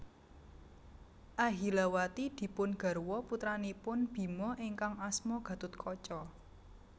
Ahilawati dipun garwa putranipun Bima ingkang asma Gathotkaca